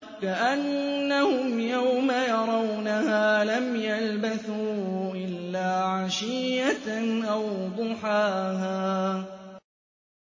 كَأَنَّهُمْ يَوْمَ يَرَوْنَهَا لَمْ يَلْبَثُوا إِلَّا عَشِيَّةً أَوْ ضُحَاهَا